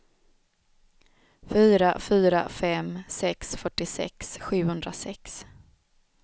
fyra fyra fem sex fyrtiosex sjuhundrasex